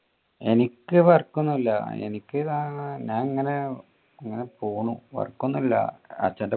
എനിക്ക് work ഒന്നും ഇല്ല എനിക്ക് സാധാരണ ഞാൻ ഇങ്ങനെ ഇങ്ങനെ പോകുന്നു അച്ഛന്റെ pocket money ആയിട്ട് അങ്ങനെ ജീവിക്കുന്നു.